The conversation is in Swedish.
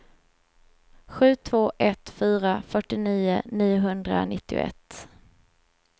sju två ett fyra fyrtionio niohundranittioett